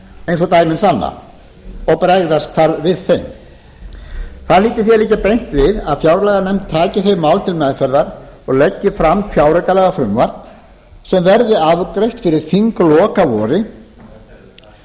eins og dæmin sanna og bregðast þarf við þeim það hlýtur því að liggja beint við að fjárlaganefnd taki þau mál til meðferðar og leggi fram fjáraukalagafrumvarp sem verði afgreitt fyrir þinglok að vori önnur fjáraukalög er svo hægt